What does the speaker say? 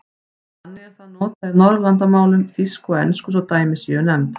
Þannig er það notað í Norðurlandamálum, þýsku og ensku svo dæmi séu nefnd.